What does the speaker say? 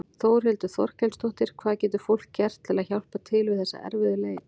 Þórhildur Þorkelsdóttir: Hvað getur fólk gert til að hjálpa til við þessa erfiðu leit?